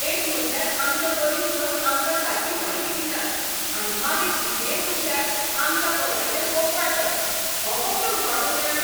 एक म्हटल्यार आमचे वरिश्ठ आमकां सारकी म्हायती दिनात आनी मागीर कितेंय चुकल्यार आमच्या पंगडाचेर फोग काडटात. हो कसलो उरफाटो न्याय?